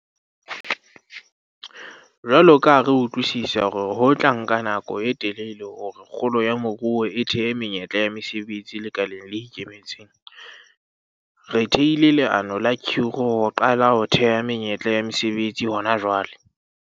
Jwalo ka ha re utlwisisa hore ho tla nka nako e telele hore kgolo ya moruo e thehe menyetla ya mesebetsi lekaleng le ikemetseng, re thehile leano la kgiro ho qala ho theha menyetla ya mesebetsi hona jwale.